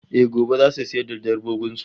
Eh, gobe zasu sayar da dabbobin su